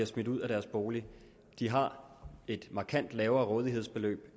smidt ud af deres bolig har et markant lavere rådighedsbeløb